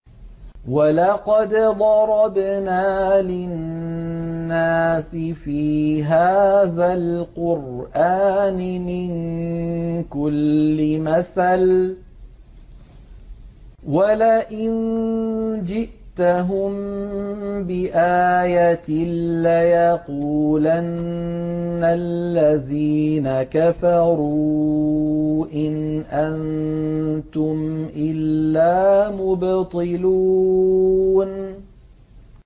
وَلَقَدْ ضَرَبْنَا لِلنَّاسِ فِي هَٰذَا الْقُرْآنِ مِن كُلِّ مَثَلٍ ۚ وَلَئِن جِئْتَهُم بِآيَةٍ لَّيَقُولَنَّ الَّذِينَ كَفَرُوا إِنْ أَنتُمْ إِلَّا مُبْطِلُونَ